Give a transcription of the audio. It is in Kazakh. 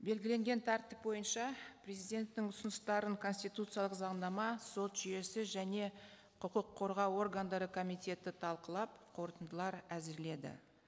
белгіленген тәртіп бойынша президенттің ұсыныстарын конституциялық заңнама сот жүйесі және құқық қорғау органдары комитеті талқылап қорытындылар әзірледі